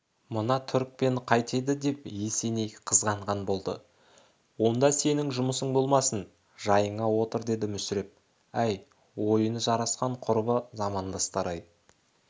мына түрікпен қайтеді деп есеней қызғанған болды онда сенің жұмысың болмасын жайыңа отыр деді мүсіреп әй ойыны жарасқан құрбы-замандастар-ай